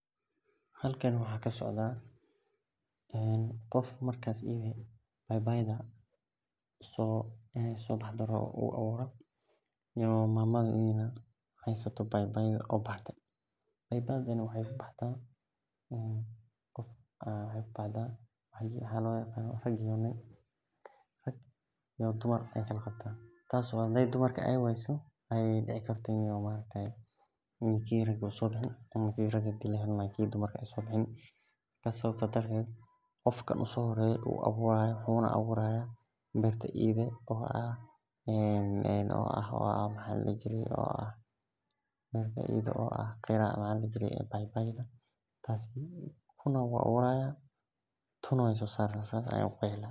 Halkan waxaa kasocda qof marka iyada rabo in bai baida rabo in ee sobaxdo tas oo kala qabto mid rag iyo mid damar tas oo hade dumarka wayse ee sobaxin qofka uhore waxu aburahay berta iyada eh oo bai baida waxan ku qexi laha kuna wu aburi haya kuna wu guri haya aniga sas ayey ilatahay Mark sas waye waxee muhiim ogu tahay bulshaada daxdedha aniga wan jeclahay.